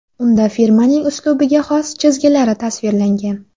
Unda firmaning uslubiga xos chizgilari tasvirlangan.